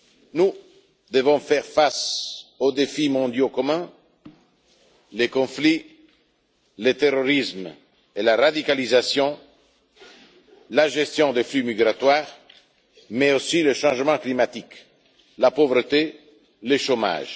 Nous devons faire face aux défis mondiaux communs les conflits, les terrorismes et la radicalisation, la gestion des flux migratoires, mais aussi le changement climatique, la pauvreté et le chômage.